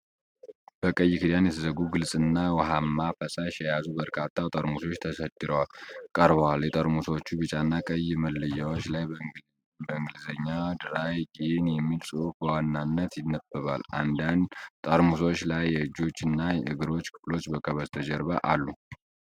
በቀይ ክዳን የተዘጉ፣ ግልጽ እና ውሃማ ፈሳሽ የያዙ በርካታ ጠርሙሶች ተሰድረው ቀርበዋል። የጠርሙሶቹ ቢጫና ቀይ መለያዎች ላይ በእንግሊዝኛ "DRY GIN" የሚል ጽሑፍ በዋናነት ይነበባል። አንዳንድ ጠርሙሶች ላይ የእጆች እና እግሮች ክፍሎች ከበስተጀርባ አሉ።